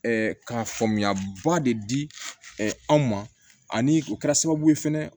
ka faamuyaba de di anw ma ani o kɛra sababu ye fɛnɛ